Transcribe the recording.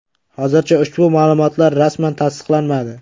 Hozircha ushbu ma’lumotlar rasman tasdiqlanmadi.